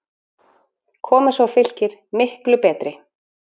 Koma svo Fylkir, MIKLU betri!